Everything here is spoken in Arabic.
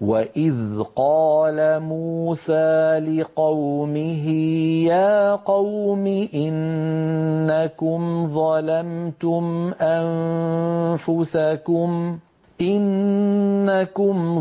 وَإِذْ قَالَ مُوسَىٰ لِقَوْمِهِ يَا قَوْمِ إِنَّكُمْ